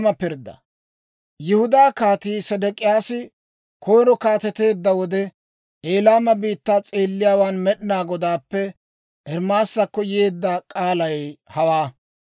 Yihudaa Kaatii Sedek'iyaasi koyiro kaateteedda wode, Elaama biittaa s'eelliyaawaan Med'inaa Godaappe Ermaasakko yeedda k'aalay hawaa.